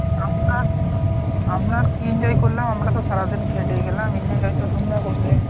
আপনার আমরা আর কি enjoy করলাম আমরা তো সারাদিন খেটেই গেলাম enjoy তো তোমরা করলে।